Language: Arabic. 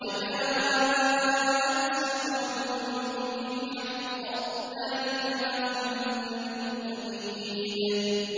وَجَاءَتْ سَكْرَةُ الْمَوْتِ بِالْحَقِّ ۖ ذَٰلِكَ مَا كُنتَ مِنْهُ تَحِيدُ